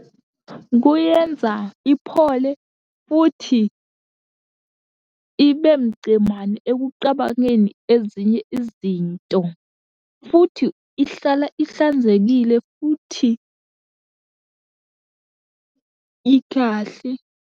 Kuyenza iphole, futhi ibe mcemane ekuqabangeni ezinye izinto, futhi ihlala ihlanzekile futhi ikahle.